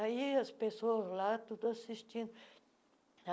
Aí as pessoas lá, tudo assistindo.